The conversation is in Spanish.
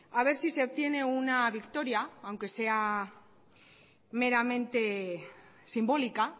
a ver si se obtiene una victoria aunque sea meramente simbólica